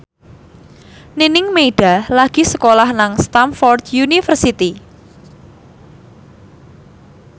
Nining Meida lagi sekolah nang Stamford University